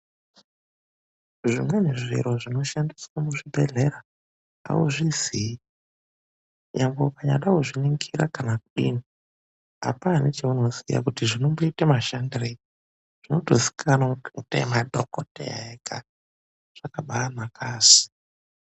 ZVIMWENI ZVIRO ZVINOSHANDISWA MUZVIBHEDHLERA AUZVIZII NYANGWE UKANYAADA KUZVININGIRA KANA KUDINI, APANA NECHAUNOZIYA KUTI ZVINOMBOITA MASHANDIREI ZVINOTOZIIKANWA NEMADHOGODHEYA EGA, ZVAKABAANAKA ASI.